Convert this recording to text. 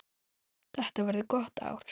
Þetta verður gott ár.